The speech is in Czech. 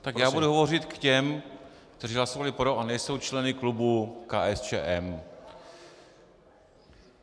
Tak já budu hovořit k těm, kteří hlasovali pro a nejsou členy klubu KSČM.